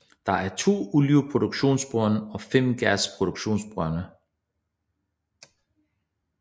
Der er 2 olieproduktionsbrønde og 5 gasproduktionsbrønde